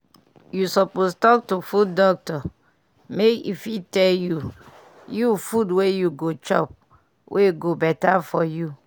you suppose talk to food doctor make e fit tell you you food were you go chop wey go better for you.